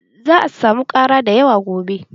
Za'a samu ƙara dayawa gobe.